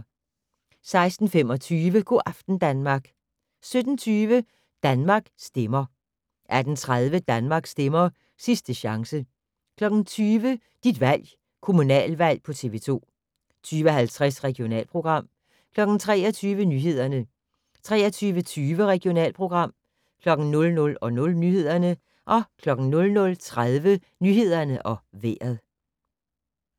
16:25: Go' aften Danmark 17:20: Danmark stemmer 18:30: Danmark stemmer - sidste chance 20:00: Dit valg - kommunalvalg på TV 2 20:50: Regionalprogram 23:00: Nyhederne 23:20: Regionalprogram 00:00: Nyhederne 00:30: Nyhederne og Vejret